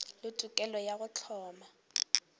le tokelo ya go hloma